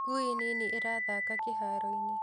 Ngui nini ĩrathaka kĩharo-inĩ